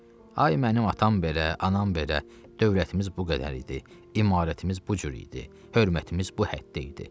Ay mənim atam belə, anam belə, dövlətimiz bu qədər idi, imarətimiz bu cür idi, hörmətimiz bu həddə idi.